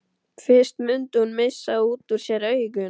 Fyrst mundi hún missa út úr sér augun.